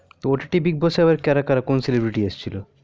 তো ott bigboss করা করা আবার কোন celebrity রাএসেছিলো